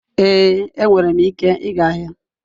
Ee, enwere m ike ịga ahịa.